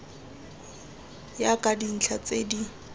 ya ka dintlha tse di